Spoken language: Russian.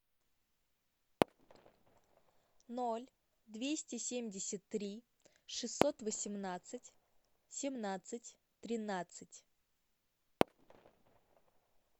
ноль двести семьдесят три шестьсот восемнадцать семнадцать тринадцать